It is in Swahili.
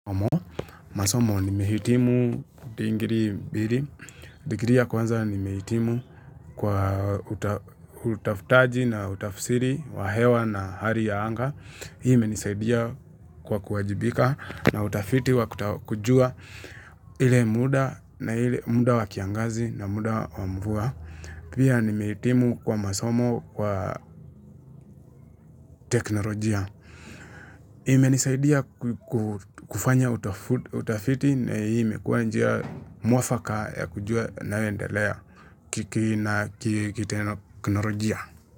Masomo nimehitimu digrii mbili. Digrii ya kwanza nimehitimu kwa utafutaji na utafusiri wa hewa na hali ya anga. Imenisaidia kwa kuwajibika na utafiti wa kujua ile muda na ile muda wa kiangazi na muda wa mvua. Pia nimehitimu kwa masomo kwa teknolojia. Imenisaidia kufanya utafiti na imekuwa njia mwafaka ya kujua naendelea kiteknolojia.